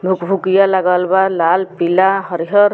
भूक-भूककिया लगल बा लाल पीला हरियर।